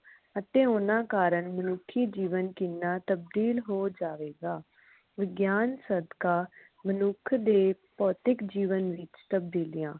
ਅਤੇ ਊਨਾ ਕਾਰਨ ਮਨੁੱਖੀ ਜੀਵਨ ਕਿੰਨਾ ਤਬਦੀਲ ਹੋ ਜਾਵੇਗਾ। ਵਿਗਿਆਨ ਸਦਕਾ ਮਨੁੱਖ ਦੇ ਭੌਤਿਕ ਜੀਵਨ ਵਿਚ ਤਬਦੀਲੀਆਂ